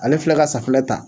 Ale filɛ ka safinɛ ta